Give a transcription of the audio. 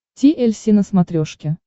ти эль си на смотрешке